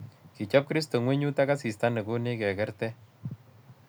Kichop kristo ngwenyut ak asista ne konech kekerte